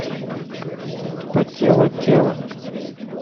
потело тело